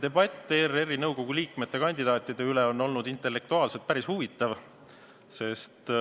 Debatt ERR-i nõukogu liikmete kandidaatide üle on olnud intellektuaalselt päris huvitav.